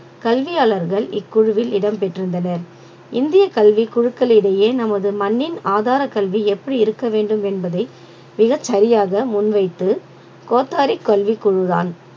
கல்வியாளர்கள் இக்குழுவில் இடம் பெற்றிருந்தனர் இந்திய கல்வி குழுக்களிடையே நமது மண்ணின் ஆதாரக் கல்வி எப்படி இருக்க வேண்டும் என்பதை மிகச் சரியாக முன்வைத்து கோத்தாரி கல்விக் குழுதான்